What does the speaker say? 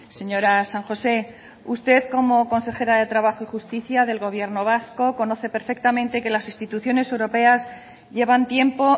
señora san josé usted como consejera de trabajo y justicia del gobierno vasco conoce perfectamente que las instituciones europeas llevan tiempo